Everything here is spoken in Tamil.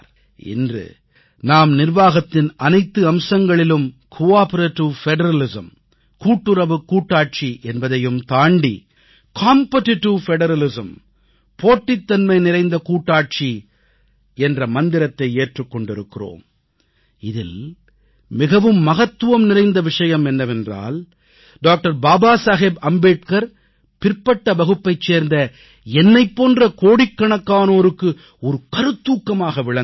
இன்று நாம் நிர்வாகத்தின் அனைத்து அம்சங்களிலும் கோஆப்பரேடிவ் பெடரலிசம் கூட்டுறவுக் கூட்டாட்சி என்பதையும் தாண்டி காம்பிட்டிடிவ் பெடரலிசம் போட்டி சார் கூட்டாட்சி என்ற மந்திரத்தை ஏற்றுக் கொண்டிருக்கிறோம் இதில் மிகவும் மகத்துவம் நிறைந்த விஷயம் என்னவென்றால் டாக்டர் பாபா சாஹேப் அம்பேத்கர் பிற்பட்ட வகுப்பைச் சேர்ந்த என்னைப் போன்ற கோடிக்கணக்கானோருக்கு ஒரு கருத்தூக்கமாக விளங்குகிறார்